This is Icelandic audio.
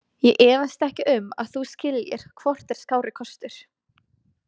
Ég efast ekki um að þú skiljir hvort er skárri kostur.